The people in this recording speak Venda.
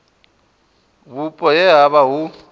vhupo he ha vha hu